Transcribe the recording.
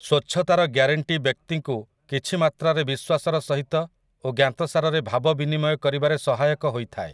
ସ୍ୱଚ୍ଛତାର ଗ୍ୟାରେଣ୍ଟି ବ୍ୟକ୍ତିକୁ କିଛି ମାତ୍ରାରେ ବିଶ୍ୱାସର ସହିତ ଓ ଜ୍ଞାତସାରରେ ଭାବ ବିନିମୟ କରିବାରେ ସହାୟକ ହୋଇଥାଏ ।